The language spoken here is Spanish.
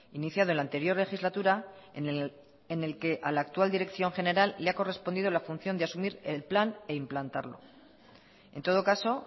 iniciado en la anterior legislatura en el que a la actual dirección general le ha correspondido la función de asumir el plan e implantarlo en todo caso